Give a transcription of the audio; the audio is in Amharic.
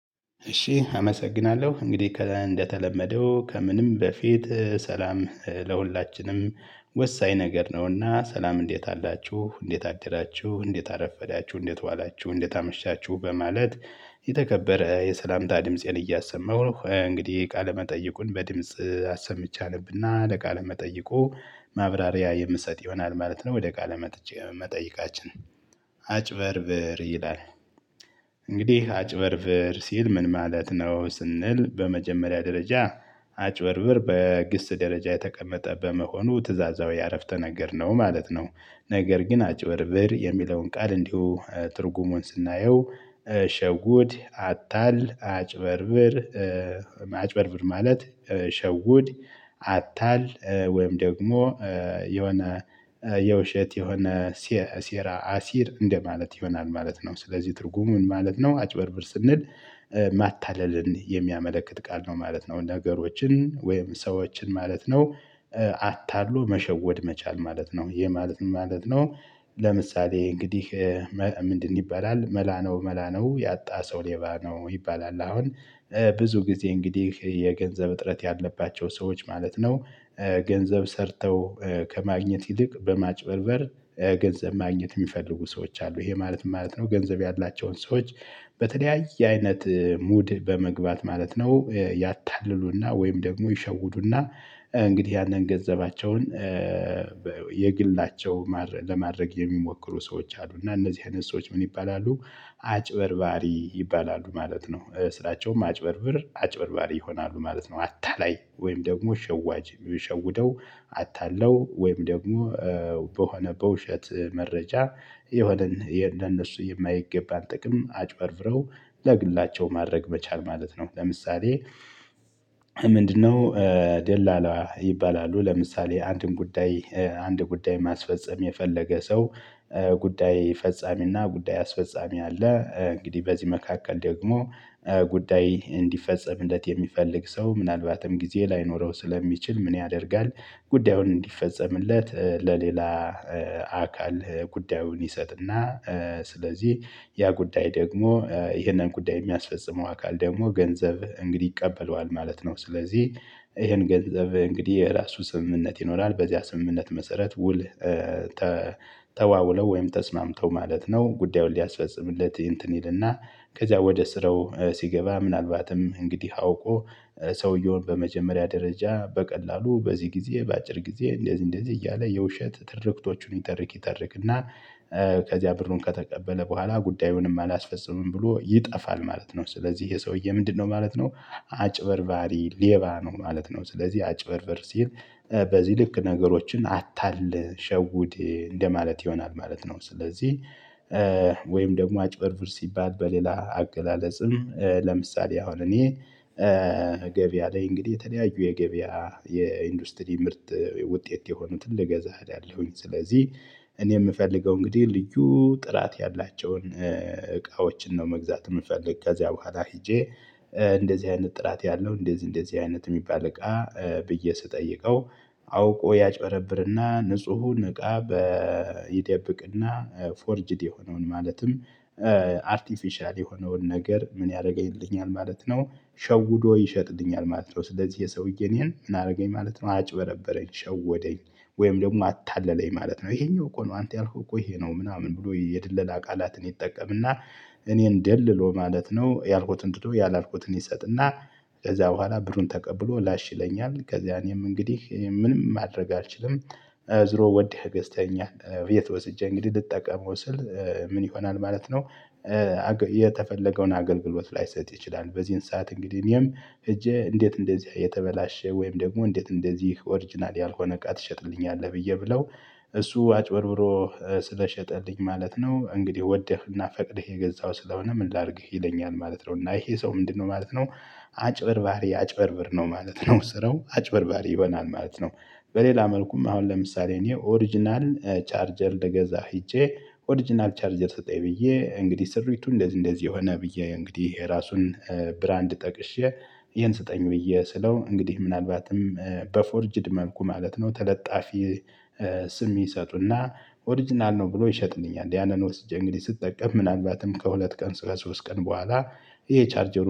እሺ አመሰግናለሁ እንግዲህ ከእንደተለመደው ከምንም በፊት ሰላም ለሁላችንም ወሳኝ ነገር ነውና ሰላም እንዴት አላችሁ እንዴት አደላችሁ እንዴት አረፈዳችሁ እንዴት ዋላችሁ እንዴት አመሻችሁ በማለት የተከበረ የሰላምታ ድምፄን እያሰማሁ እንግዲህ ቃለመጠይቁን በድምጽ አሰምቼ አነብና ለቃለመጠይቁ ማብራሪያ የምትሰጥ ይሆናል ማለት ነው ወደ ቃለ መጥቼ መጠይቃችን አጭበርብር ይላል። እንግዲህ አጭበርብር ሲል ምን ማለት ነው? ስንል በመጀመሪያ ደረጃ አጭበርብር በግስ ደረጃ የተቀመጠ በመሆኑ ትእዛዛዊ አረፍተ ነገር ነው ማለት ነው። ነገር ግን አጭበርብር የሚለውን ቃል እንዲሁ ትርጉሙን ስናየው ሸጉድ አታል አጭበርብር አጭበርብር ማለት ሸውድ አታል ወይም ደግሞ የሆነ የውሸት የሆነ ሴራ አሲር እንደማለት ይሆናል ማለት ነው። ስለዚህ ትርጉሙን ማለት ነው አጭበርብር ስንል ማታለልን የሚያመለክት ቃል ነው ማለት ነው። ነገሮችን ወይም ሰዎችን ማለት ነው። አታሎ መሸወድ መቻል ማለት ነው። ይሄ ማለት ምን ማለት ነው? ለምሳሌ እንግዲህ ምንድን ይባላል መላ ነው መላ ነው ያጣ ሰው ሌባ ነው ይባላል። አሁን ብዙ ጊዜ እንግዲህ የገንዘብ እጥረት ያለባቸው ሰዎች ማለት ነው። ገንዘብ ሰርተው ከማግኘት ይልቅ በማጭበርበር ገንዘብ ማግኘት የሚፈልጉ ሰዎች አሉ። ይሄ ማለት ምንማለት ነው? ገንዘብ ያላቸውን ሰዎች በተለያየ አይነት ሙድ በመግባት ማለት ነው ያታልሉና ወይም ደግሞ ይሸውዱና። እንግዲህ ያንን ገንዘባቸውን የግላቸው ለማድረግ የሚሞክሩ ሰዎች አሉ። እና እነዚህ አይነት ሰዎች ምን ይባላሉ? አጭበርባሪ ይባላሉ ማለት ነው። ስራቸውም አጭበርብር አጭበርባሪ ይሆናሉ ማለት ነው። አታላይ ወይም ደግሞ ሸዋጅ የሚሸውደው አታለው ወይም ደግሞ በሆነ በውሸት መረጃ የሆነን እንደነሱ የማይገባን ጥቅም አጭበርብረው ለግላቸው ማድረግ መቻል ማለት ነው። ለምሳሌ ምንድነው? ደላላ ይባላሉ ለምሳሌ አንድን ጉዳይ አንድ ጉዳይ ማስፈጸም የፈለገ ሰው ጉዳይ ፈጻሚና ጉዳይ አስፈጻሚ አለ። እንግዲህ በዚህ መካከል ደግሞ ጉዳይ እንዲፈጸምለት የሚፈልግ ሰው ምናልባትም ጊዜ ላይኖረው ስለሚችል ምን ያደርጋል? ጉዳዩን እንዲፈጸምለት ለሌላ አካል ጉዳዩን ይሰጥና ስለዚህ ያ ጉዳይ ደግሞ ይሄንን ጉዳይ የሚያስፈጽመው አካል ደግሞ ገንዘብ እንግዲህ ይቀበለዋል ማለት ነው። ስለዚህ ይሄን ገንዘብ እንግዲህ የራሱ ስምምነት ይኖራል በዚያ ስምምነት መሰረት ውል ተዋውለው ወይም ተስማምተው ማለት ነው። ጉዳዩን ሊያስፈጽምለት እንትን ይልና ከዚያ ወደ ስራው ሲገባ ምናልባትም እንግዲህ አውቆ ሰውየውን በመጀመሪያ ደረጃ በቀላሉ በዚህ ጊዜ በአጭር ጊዜ እንደዚህ እንደዚህ እያለ የውሸት ትርክቶቹን ይተርክ ይተርክ እና ከዚያ ብሩን ከተቀበለ በኋላ ጉዳዩንም አላስፈጽምም ብሎ ይጠፋል ማለት ነው። ስለዚህ ይሄ ሰውዬ ምንድነው ማለት ነው? አጭበርባሪ ሌባ ነው ማለት ነው። ስለዚህ አጭበርበር ሲል በዚህ ልክ ነገሮችን አታል ሸውድ እንደማለት ይሆናል ማለት ነው። ስለዚህ ወይም ደግሞ አጭበርብር ሲባል በሌላ አገላለጽም ለምሳሌ አሁን እኔ ገበያ ላይ እንግዲህ የተለያዩ የገበያ የኢንዱስትሪ ምርጥ ውጤት የሆኑትን ልገዛ እሄዳለሁኝ ስለዚህ። እኔ የምፈልገው እንግዲህ ልዩ ጥራት ያላቸውን እቃዎችን ነው መግዛት የምፈልግ ከዚያ በኋላ ሄጄ እንደዚህ አይነት ጥራት ያለው እንደዚህ እንደዚህ አይነት የሚባል እቃ ብዬ ስጠይቀው አውቆ ያጭበረብርና ንጹሁን እቃ በይደብቅና ፎርጅድ የሆነውን ማለትም አርቲፊሻል የሆነውን ነገር ምን ያደረገኝልኛል ማለት ነው። ሸውዶ ይሸጥልኛል ማለት ነው። ስለዚህ የሰውዬ እኔን ምን አደረገኝ ማለት ነው። አጭበረበረኝ ሸወደኝ ወይም ደግሞ አታለለኝ ማለት ነው። ይሄኛው እኮ ነው አንተ ያልኩህ እኮ ይሄ ነው። ምናምን ብሎ የድለላ ቃላትን ይጠቀምና እኔን ደልሎ ማለት ነው ያልኩትን ትቶ ያላልኩትን ይሰጥና ከዚያ በኋላ ብሩን ተቀብሎ ላሽ ይለኛል ከዚያ እኔም እንግዲህ ምንም ማድረግ አልችልም። ዝሮ ወደህ ገዝተኸኛል የት ወስጄ እንግዲህ ልጠቀመው ስል ምን ይሆናል ማለት ነው? የተፈለገውን አገልግሎት ላይሰጥ ይችላል። በዚህን ሰዓት እንግዲህ እኔም ሄጄ እንዴት እንደዚህ የተበላሸ ወይም ደግሞ እንዴት እንደዚህ ኦሪጅናል ያልሆነ እቃ ትሸጥልኛለህ ብዬ ብለው እሱ አጭበርብሮ ስለሸጠልኝ ማለት ነው። እንግዲህ ወደህና ፈቅድህ የገዛው ስለሆነ ምን ላድርግህ ይለኛል ማለት ነው። እና ይሄ ሰው ምንድነው ማለት ነው? አጭበርባሪ አጭበርብር ነው ማለት ነው። ስራው አጭበርባሪ ይሆናል ማለት ነው። በሌላ መልኩም አሁን ለምሳሌ እኔ ኦሪጅናል ቻርጀር ልገዛ ሄጄ ኦሪጅናል ቻርጀር ሰጠኝ ብዬ እንግዲህ ስሪቱ እንደዚህ እንደዚህ ሆነ ብዬ እንግዲህ የራሱን ብራንድ ጠቅሼ ይሄን ስጠኝ ብዬ ስለው እንግዲህ ምናልባትም በፎርጅድ መልኩ ማለት ነው ተለጣፊ ስም ይሰጡና ኦሪጅናል ነው ብሎ ይሸጥልኛል ያንን ወስጄ እንግዲህ ስጠቀም ምናልባትም ከሁለት ቀን ሶስት ቀን በኋላ ይሄ ቻርጀር